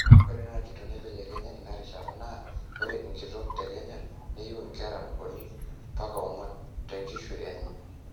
ore naaji tenemeibelekenya ina rishata naa ore enkitok te kenya neiu inkerra uni mbaka ong'wuan tenkishui enye